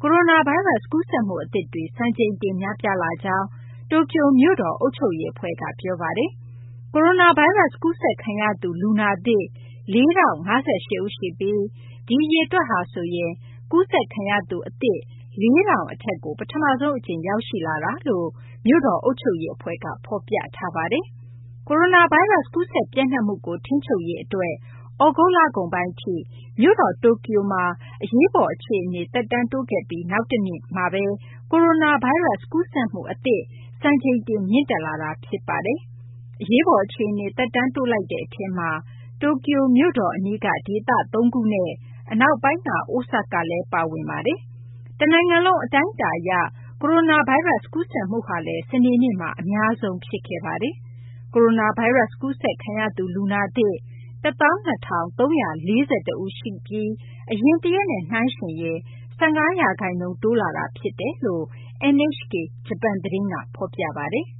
ကိုရိုနာဗိုင်းရပ်စ် ကူးစက်မှု အသစ်တွေ စံချိန်တင် များပြားလာကြောင်း တိုကျိုမြို့တော် အုပ်ချုပ်ရေး အဖွဲ့က ပြောပါတယ်။ ကိုရိုနာဗိုင်းရပ်စ် ကူးစက်ခံရသူ လူနာသစ် ၄,၀၅၈ ရှိပြီး ဒီအရေအတွက်ဟာဆိုရင် ကူးစက်ခံရသူ အသစ် အရေအတွက် ၄,၀၀၀ အထက်ကို ပထမဆုံး အကြိမ် ရောက်ရှိလာကြောင်း မြို့တော် အုပ်ချုပ်ရေး အဖွဲ့က ဖော်ပြထားပါတယ်။ ကိုရိုနာဗိုင်းရပ်စ် ကူးစက် ပျံ့နှံ့မှုကို ထိန်းချုပ်ရေး အတွက် သြဂုတ်လကုန်ပိုင်း ထိ မြို့တော် တိုကျိုမှာ အရေးပေါ် အခြေအနေ သက်တမ်း တိုးခဲ့ပြီး နောက်တနေ့မှာဘဲ ကိုရိုနာဗိုင်းရပ်စ် ကူးစက်မှု အသစ် စံချိန်တင် မြင့်တက်လာတာ ဖြစ်ပါတယ်။ အရေးပေါ် အခြေအနေ သက်တမ်းတိုးလိုက်တဲ့ အထဲမှာ တိုကျိုမြို့တော် အနီးက ဒေသ သုံးခု နဲ့ အနောက်ပိုင်းက အိုဆာကာ လည်း ပါဝင်ပါတယ်။ တနိုင်ငံလုံး အတိုင်းအတာအရ ကိုရိုနာဗိုင်းရပ်စ် ကူးစက်မှုဟာလည်း စနေနေ့မှာ အများဆုံးဖြစ်ခဲ့ပါတယ်။ ကိုရိုနာဗိုင်းရပ်စ် ကူးစက်ခံရသူ လူနာသစ် ၁၂,၃၄၁ ဦး ရှိပြီး အရင်တရက်နဲ့ နှိုင်းယှဉ်ရင် ၁၅ ရာခိုင်နှုန်း တိုးလာတာ ဖြစ်ကြောင်း NHK ဂျပန်သတင်းက ဖော်ပြပါတယ်။